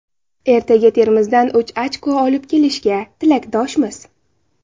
Ertaga Termizdan uch ochko olib kelishiga tilakdoshmiz.